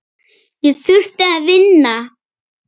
Ég þurfti að vinna.